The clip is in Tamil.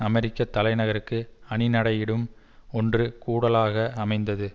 அமெரிக்க தலை நகருக்கு அணி நடையிடும் ஒன்று கூடலாக அமைந்தது